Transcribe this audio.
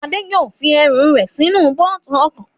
Adé yóò fi ẹrù rẹ̀ sí inú bóòtù ọkọ̀